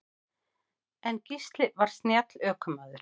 En Gísli var snjall ökumaður.